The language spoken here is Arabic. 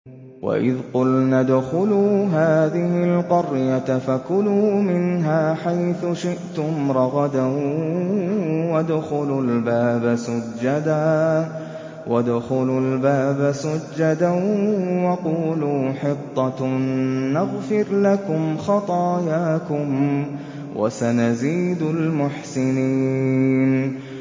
وَإِذْ قُلْنَا ادْخُلُوا هَٰذِهِ الْقَرْيَةَ فَكُلُوا مِنْهَا حَيْثُ شِئْتُمْ رَغَدًا وَادْخُلُوا الْبَابَ سُجَّدًا وَقُولُوا حِطَّةٌ نَّغْفِرْ لَكُمْ خَطَايَاكُمْ ۚ وَسَنَزِيدُ الْمُحْسِنِينَ